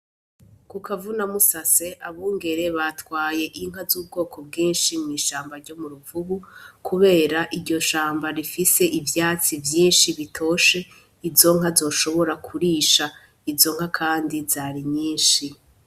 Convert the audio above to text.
Kukavune musase abungure batwaye inka z'ubwoko bwinshi mw'ishamba ryo muruvubu kubera Iryo shamba rifise ivyatsi vyinshi biryoshe Izo nka zoshobora kurisha izo nka Kandi Zarinyishi.